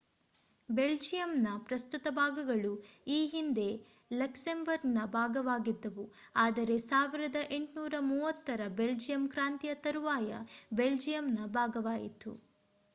ಬೆಲ್ಜಿಯಂನ ಪ್ರಸ್ತುತ ಭಾಗಗಳು ಈ ಹಿಂದೆ ಲಕ್ಸೆಂಬರ್ಗ್‌ನ ಭಾಗವಾಗಿದ್ದವು ಆದರೆ 1830ರ ಬೆಲ್ಜಿಯಂ ಕ್ರಾಂತಿಯ ತರವಾಯು ಬೆಲ್ಜಿಯಂನ ಭಾಗವಾಯಿತು